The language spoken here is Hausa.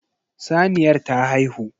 Saniyar ta haihu.